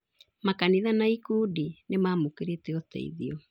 Makanitha na ikundi nĩmamũkĩrĩte ũteithio